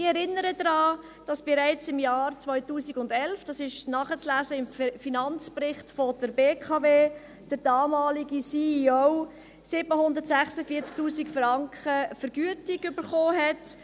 Ich erinnere daran, dass bereits im Jahr 2011 – dies ist nachzulesen im Finanzbericht der BKW – der damalige CEO 746 000 Franken Vergütung erhielt.